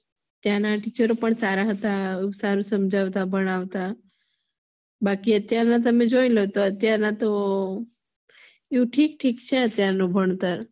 ત્યાના teacher પણ સારા હતા અને સુંદર પણ ભણાવતા બાકી અત્યાર નું તમે જોઈ લો તો અત્યારે તો ઠીક ઠીક છે અત્યાર નું ભણતર